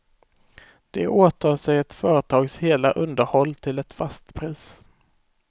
De åtar sig ett företags hela underhåll till ett fast pris.